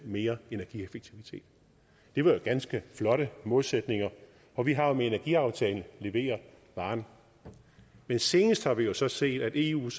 mere energieffektivitet det var jo ganske flotte målsætninger og vi har med energiaftalen leveret varen men senest har vi så set at eus